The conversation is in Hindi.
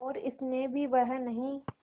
और स्नेह भी वह नहीं